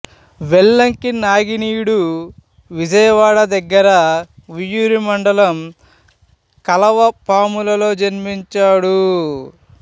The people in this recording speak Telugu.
వెల్లంకి నాగినీడు విజయవాడ దగ్గర ఉయ్యూరు మండలం కలవపాములలో జన్మించాడు